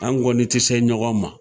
An kɔni tɛ se ɲɔgɔn ma